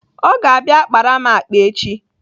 Ọ ga-abịa akpara m akpa echi.